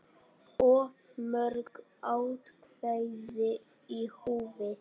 Of mörg atkvæði í húfi?